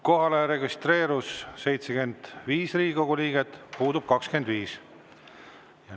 Kohalolijaks registreerus 75 Riigikogu liiget, puudub.